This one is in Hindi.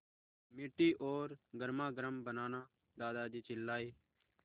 मीठी और गर्मागर्म बनाना दादाजी चिल्लाए